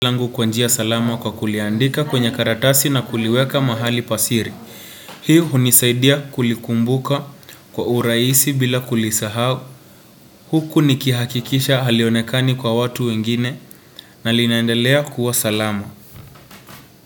Langu kwa njia salama kwa kuliandika kwenye karatasi na kuliweka mahali pa siri. Hii hunisaidia kulikumbuka kwa urahisi bila kulisahau. Huku nikihakikisha halionekani kwa watu wengine na linaendelea kuwa salama.